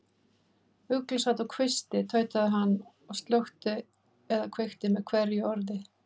Ugla sat á kvisti, tautaði hann og slökkti eða kveikti með hverju orði.